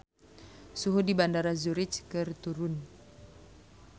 Suhu di Bandara Zurich keur turun